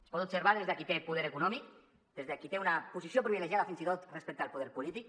es poden observar des de qui té poder econòmic des de qui té una posició privilegiada fins i tot respecte al poder polític